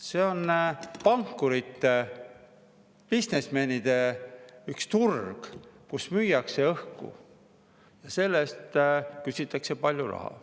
See on üks pankurite, bisnismenide turg, kus müüakse õhku ja selle eest küsitakse palju raha.